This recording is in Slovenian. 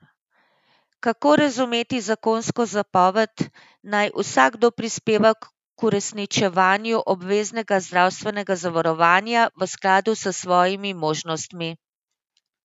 Kako razumeti zakonsko zapoved, naj vsakdo prispeva k uresničevanju obveznega zdravstvenega zavarovanja v skladu s svojimi možnostmi?